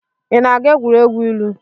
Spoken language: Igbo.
Ị na-aga egwuregwu ilu?